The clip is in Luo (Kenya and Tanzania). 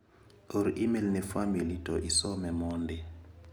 Or imel ne famili to isome mondi.